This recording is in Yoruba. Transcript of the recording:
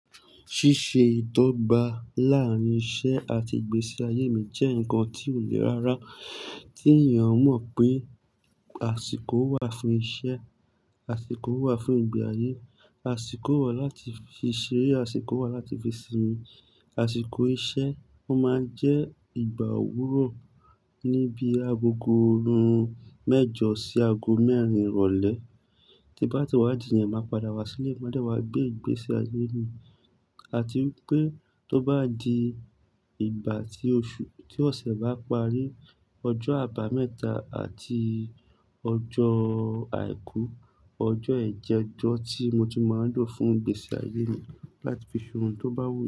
Ṣíṣe ìdọ́gba láàárín iṣẹ́ àti ìgbésí ayé mi jẹ́ nǹkan tí ò le rárá. Tí ènìyàn mọ̀ pé, àsìkò wà fún iṣẹ́, àsìkò wà fún ìgbé ayé, àsìkò wà láti fi ṣeré, àsìkò wà láti fi sinmi. Àsìkò iṣẹ́, ó máa ń jẹ́ ìgbà òwúrọ̀ níbi agogo hmm mẹ́jọ sí aago mẹ́rin ìrọ̀lẹ́. Tí n bá ti wá dì yẹn, màá padà wá sílé, máa dẹ̀ wá gbé ìgbésí ayé mi. Àti wípé tó bá di ìgbà tí oṣù-- tí ọ̀sẹ̀ bá parí, ọjọ́ àbámẹ́ta àti ọjọ́ àìkú, ọjọ́ yẹn jẹ́ ọjọ́ tí mo ti máa ń lò fún ìgbésí ayé mi láti fi ṣohun tó bá wù mí.